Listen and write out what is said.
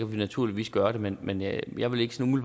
vi naturligvis gøre det men men jeg vil ikke sådan